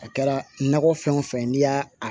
A kɛra nakɔ fɛn wo fɛn n'i y'a a